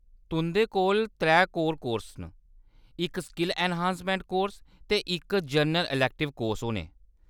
तुंʼदे कोल त्रै कोर कोर्स, इक स्किल ऐन्हांसमैंट कोर्स ते इक जनरल अलैक्टिव कोर्स होने।